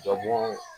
Jɔbon